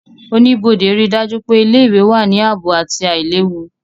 Oníbodé ríi dájú pé ilé-ìwé wà ní ààbò àti àìlewu